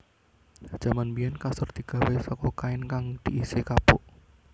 Jaman biyèn kasur digawé saka kain kang diisi kapuk